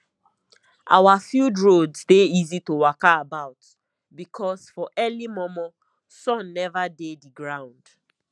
our field roads dey easy to waka about because for early momo sun never dey the ground